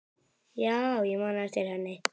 Já, ég man eftir henni.